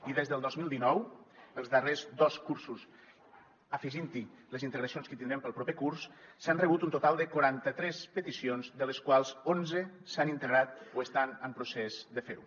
i des del dos mil dinou els darrers dos cursos afegint hi les integracions que hi tindrem pel proper curs s’han rebut un total de quaranta tres peticions de les quals onze s’han integrat o estan en procés de fer ho